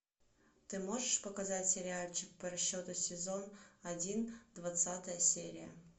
ты можешь показать сериальчик по расчету сезон один двадцатая серия